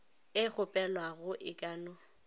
e kgopelwago e ka no